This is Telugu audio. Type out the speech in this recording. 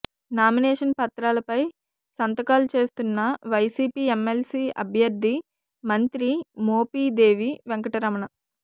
నామినేషన్ పత్రాలపై సంతకాలు చేస్తున్న వైసీపీ ఎమ్మెల్సీ అభ్యర్థి మంత్రి మోపిదేవి వెంకటరమణ